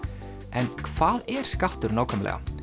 en hvað er skattur nákvæmlega